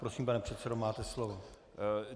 Prosím, pane předsedo, máte slovo.